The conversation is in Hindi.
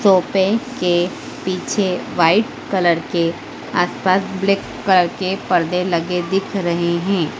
सोफे के पीछे व्हाइट कलर के आस पास ब्लैक कलर के पर्दे लगे दिख रहे है।